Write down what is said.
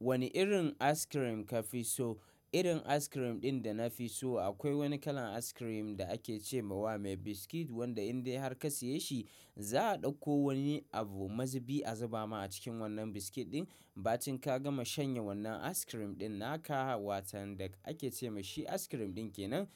Wane irin askirim ka fi so? Irin askirim ɗin da na fi so akwai wani kalan askirim da ake cema wa mai biskit wanda in dai har ka siye shi za a ɗauko wani abu mazibi a zuba ma a cikin wannan biskit ɗin. Ba cin ka gama shanye wannan askirim ɗin naka watan da ake ce ma shi askirim ɗin kenan.